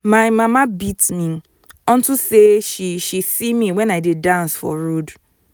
my mama beat me unto say she she see me wen i dey dance for road